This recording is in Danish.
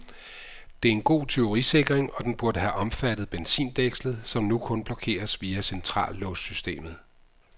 Det er en god tyverisikring, og den burde have omfattet benzindækslet, som nu kun blokeres via centrallåssystemet.